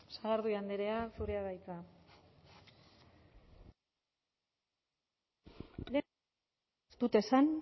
sagardui andrea zurea da hitza ez dut esan